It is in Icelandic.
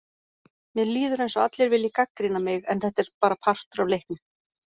Mér líður eins og allir vilji gagnrýna mig, en þetta er bara partur af leiknum.